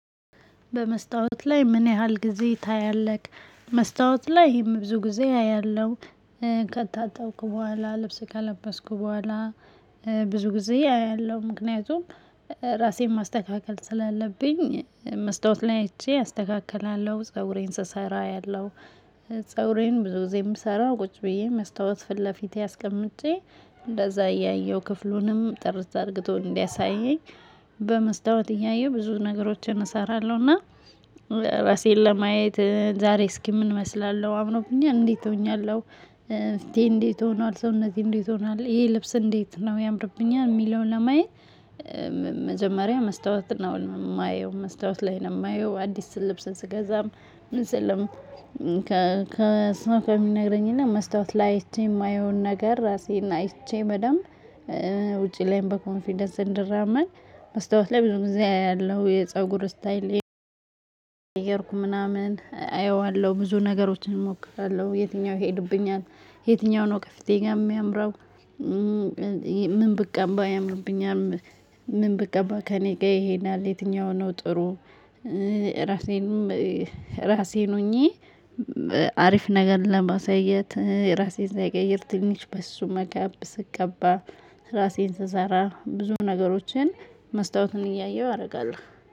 በመስታወት ላይ ምን ያህል ጊዜ ታያለህ? መስታወት ላይ ይህም ብዙ ጊዜ አያለሁ። ከታጠብኩ በኋላ ልብስ ከለበስኩ በኋላ። ብዙ ጊዜ አያለሁ ምክንያቱም ራሴን ማስተካከል ስላለብኝ መስታወት ላይ አይቼ አስተካክላለሁ ፀጉሬን ስሰራ አያለሁ። ፀጉሬን ብዙ ጊዜ የምሰራው ቁጭ ብዬ መስታወት ፊት ለፊቴ አስቀምጬ እንደዛ እያየሁ ክፍሉንም ጥርት አርግቶ እንዲያሳየኝ። በመስታወት እያየሁ ብዙ ነገሮችን እሰራለሁና። ራሴን ለማየት ዛሬ እስኪ ምን እመስላለሁ አምሮብኛል እንዴት ሆኛለሁ። ፊቴ እንዴት ሆኗል ሰውነቴ እንዴት ሆኗል ይሄ ልብስ እንዴት ነው ያምርብኛል የሚለውን ለማየት። መጀመሪያ መስታወት ነው የማየው መስታወት ላይ ነው የማየው። አዲስ ልብስ ስገዛም ምን ስልም ከ ከ ሰው ከሚነግረኝ እና መስታወት ላይ እይቼ የማየውን ነገር ራሴን እቼ በደንብ ውጭ ላይም በኮንፊደንስ እንድራመድ። መስታወት ላይ ብዙ ጊዜ አያለሁ የፀጉር ስታይሌ። እየቀየርኩ ምናምን አየዋለሁ ብዙ ነገሮችን እሞክራለሁ የትኛው ይሄድብኛል? የትኛው ነው ከፌቴ ጋር የሚያምረው? ምን ብቀባ ያምርብኛል? ምን ብቀባ ከእኔ ጋር ይሄዳል? የትኛው ነው ጥሩ? ራሴን ሆኜ አሪፍ ነገር ለማሳየት ራሴን ሳይቀየር ትንሽ በስሱ ሜካብ ስቀባ። ራሴን ስሰራ ብዙ ነገሮችን መስታወቱን እያየሁ አደርጋለሁ